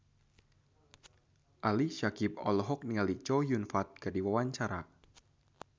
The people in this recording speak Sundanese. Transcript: Ali Syakieb olohok ningali Chow Yun Fat keur diwawancara